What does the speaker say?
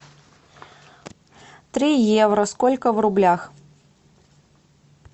три евро сколько в рублях